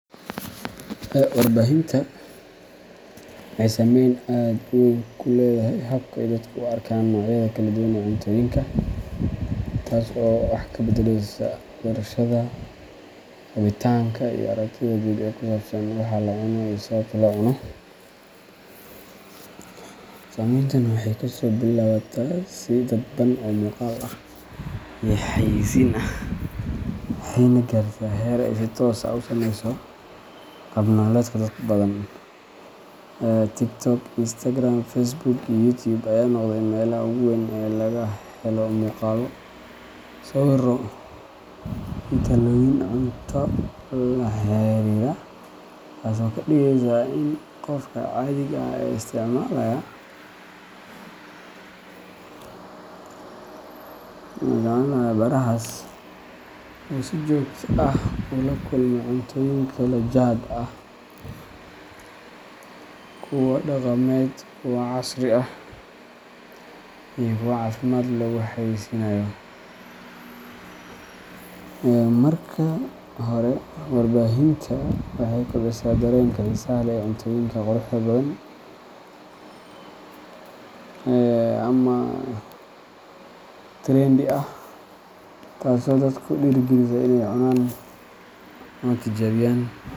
Warbaahinta bulshada waxay saameyn aad u weyn ku leedahay habka ay dadku u arkaan noocyada kala duwan ee cuntooyinka, taasoo wax ka beddeleysa doorashada, rabitaanka, iyo aragtida guud ee ku saabsan waxa la cuno iyo sababta loo cuno. Saameyntan waxay kasoo bilaabataa si dadban oo muuqaal iyo xayeysiin ah, waxayna gaartaa heer ay si toos ah u saameyso qaab nololeedka dad badan. TikTok, Instagram, Facebook, and YouTube ayaa noqday meelaha ugu weyn ee laga helo muuqaallo, sawirro, iyo talooyin cunto la xiriira, taasoo ka dhigeysa in qofka caadiga ah ee isticmaalaya barahaas uu si joogto ah ula kulmo cuntooyin kala jaad ah kuwa dhaqameed, kuwa casri ah, iyo kuwa caafimaad lagu xayeysiinayo. Marka hore, warbaahinta bulshada waxay kobcisaa dareenka xiisaha leh ee cuntooyinka quruxda badan ama trendy ah, taasoo dadka ku dhiirrigelisa inay cunaan ama tijaabiyaan.